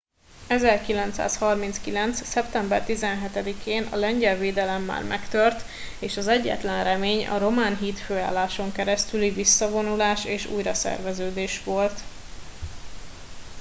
1939. szeptember 17 én a lengyel védelem már megtört és az egyetlen remény a román hídfőálláson keresztüli visszavonulás és újraszerveződés volt